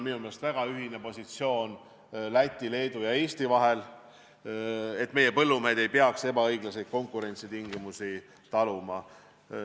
Minu meelest on Lätil, Leedul ja Eestil ühine positsioon, et meie põllumehed ei peaks ebaõiglaseid konkurentsitingimusi taluma.